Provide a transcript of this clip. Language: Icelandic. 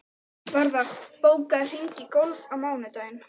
Varða, bókaðu hring í golf á mánudaginn.